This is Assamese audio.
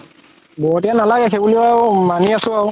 নালাগে সেই বুলিও মানি আছো আৰু